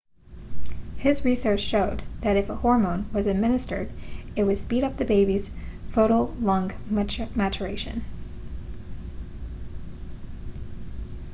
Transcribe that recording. his research showed that if a hormone was administered it would speed up the baby's foetal lung maturation